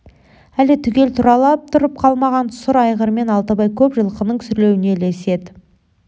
әлі түгел тұралап тұрып қалмаған сұр айғырмен алтыбай көп жылқының сүрлеуіне ілеседі